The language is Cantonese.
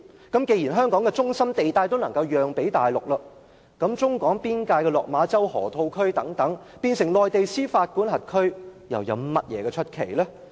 既然香港的中心地帶都可以讓予大陸，那麼將處於中港邊境的落馬洲河套區變成內地司法管轄區，又有甚麼奇怪？